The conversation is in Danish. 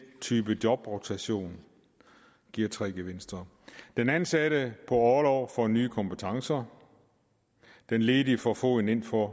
type jobrotation giver tre gevinster den ansatte på orlov får nye kompetencer den ledige får foden indenfor